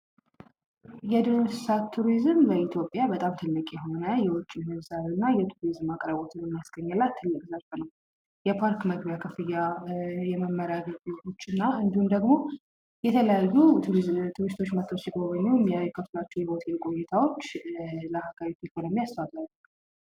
የዱር እንስሳት ቱሪዝም በኢትዮጵያ በጣም ትልቅ የሆነ የዉጭ ምንዛሬ እና የቱሪዝም አቅርቦት የሚያስገኝ እና ትልቅ ምርት ነዉ ።የፓርክ መግቢያ ክፍያ የመማሪያ አገልግሎቶችን እና እንዲሁም ደግሞ የተለያዩ ቱሪዝመንቶች መተዉ ሲጎበኙ እሚከፍሉአቸዉ የሆቴል ቆይታወች ለሀገር ኢኮኖሚ አስተዋጽኦ አላቸዉ።